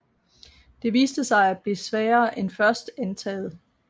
Det viste sig at blive sværere end først antaget